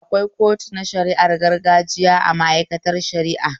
Akwai kotu na shari'ar gargajiya a mai'aikatar shara'a